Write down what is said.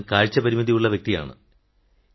ഞാൻ അന്ധനായ വ്യക്തിയാണ്